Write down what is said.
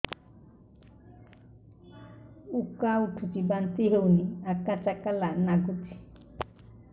ଉକା ଉଠୁଚି ବାନ୍ତି ହଉନି ଆକାଚାକା ନାଗୁଚି